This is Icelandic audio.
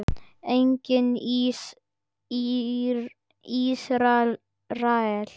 Einnig í Ísrael.